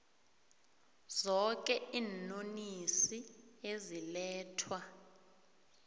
zoke iinonisi ezilethwa